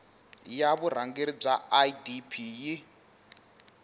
ya vurhangeri bya idp yi